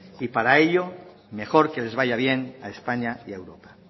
y para ello mejor que les vaya bien a españa y a europa